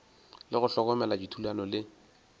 le go hlokomela dithulano le